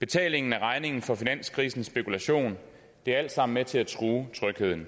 betalingen af regningen for finanskrisens spekulation er alt sammen med til at true trygheden